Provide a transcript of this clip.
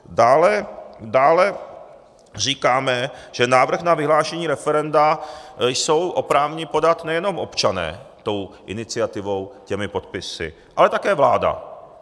Dále říkáme, že návrh na vyhlášení referenda jsou oprávněni podat nejenom občané tou iniciativou, těmi podpisy, ale také vláda.